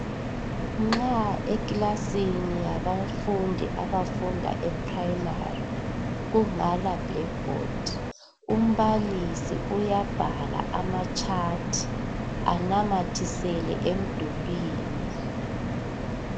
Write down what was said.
Nxa ekilasini yabafundi bebanga laphansi kungela bhodi yokubhalela umbalisi uyabhala amagwaliba anamathisele emdulini.